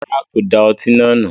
Rárá, kò da ọtí náà nù